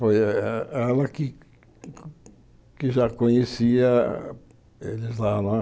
Foi eh ela que já conhecia eles lá não é.